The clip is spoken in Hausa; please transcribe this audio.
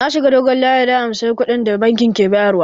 Na shiga dogon layi don in ansa kuɗin da bankin ke bayar wa